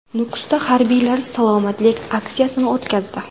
Nukusda harbiylar salomatlik aksiyasini o‘tkazdi .